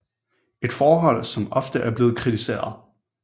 Et forhold som ofte er blevet kritiseret